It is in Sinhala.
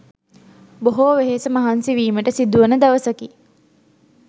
බොහෝ වෙහෙස මහන්සි වීමට සිදුවන දවසකි.